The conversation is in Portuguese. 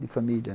De família.